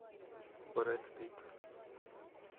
брэд питт